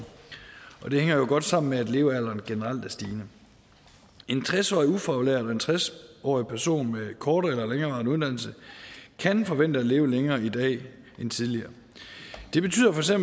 og det hænger jo godt sammen med at levealderen generelt er stigende en tres årig ufaglært og en tres årig person med en kortere eller længerevarende uddannelse kan forvente at leve længere i dag end tidligere det betyder feks at